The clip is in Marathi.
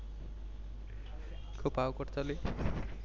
खूप अवघड चालूये .